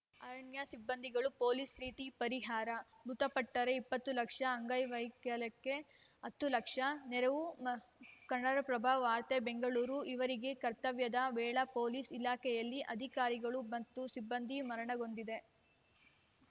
ಅರಣ್ಯ ಸಿಬ್ಬಂದಿಗಳಿಗೂ ಪೊಲೀಸ್‌ ರೀತಿ ಪರಿಹಾರ ಮೃತಪಟ್ಟರೆ ಇಪ್ಪತ್ತು ಲಕ್ಷ ಅಂಗವೈಕಲ್ಯಕ್ಕೆ ಹತ್ತು ಲಕ್ಷ ರು ನೆರವು ಕನ್ನಡಪ್ರಭ ವಾರ್ತೆ ಬೆಂಗಳೂರು ಈವರೆಗೆ ಕರ್ತವ್ಯದ ವೇಳೆ ಪೊಲೀಸ್‌ ಇಲಾಖೆಯಲ್ಲಿ ಅಧಿಕಾರಿಗಳು ಮತ್ತು ಸಿಬ್ಬಂದಿ ಮರಣಹೊಂದಿದೆ